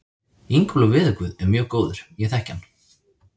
Ingólfur veðurguð er mjög góður, ég þekki hann.